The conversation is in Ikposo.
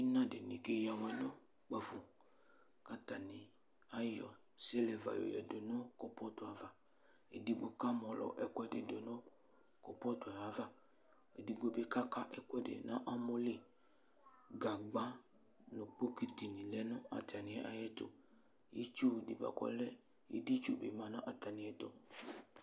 Ina dini keya awɛ nʋ kpafo Atani ayɔ siliva yɔyadʋ nʋ kɔpɔtʋ ava, edigbo kamɔlɔ ɛkʋɛdi dʋ nʋ kɔpɔtʋ yɛ ava, edigbo bi kaka ɛkʋɛdi nʋ amɔli Gagba nʋ bɔtitini lɛnʋ atani ayʋ ɛtʋ, itsu di bʋakʋ ɔlɛ editsu bi manʋ atami idʋ